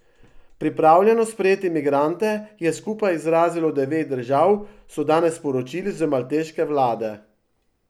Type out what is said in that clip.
Pripravljenost sprejeti migrante je skupaj izrazilo devet držav, so danes sporočili z malteške vlade.